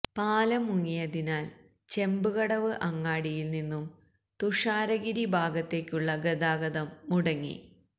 പാലം മുങ്ങിയതിനാല് ചെമ്പ്കടവ് അങ്ങാടിയില് നിന്നും തുഷാരഗിരി ഭാഗത്തേക്കുള്ള ഗാതാഗതം മുടങ്ങി